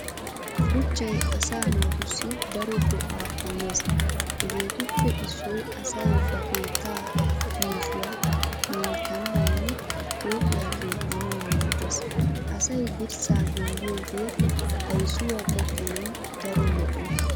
Shuchchay asaa naatussi daro go'aa immees hegeetuppe issoy asay ba keettaa yuushuwaa minttanawunne pooqiyaa keexxanawu maaddees. Asay dirssaa gimbbiyoogee kaysuwaa teqqanawu daro lo'o.